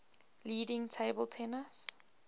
leading table tennis